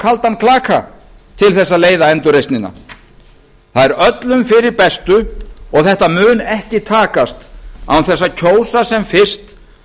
kaldan klaka til að leiða endurreisnina það er öllum fyrir bestu og þetta mun ekki takast án þess að kjósa sem fyrst